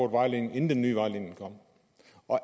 vejledning inden den nye vejledning kom